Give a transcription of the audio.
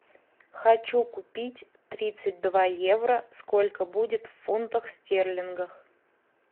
хочу купить тридцать два евро сколько будет в фунтах стерлингов